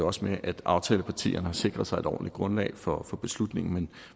også med at aftalepartierne har sikret sig et ordentligt grundlag for for beslutningen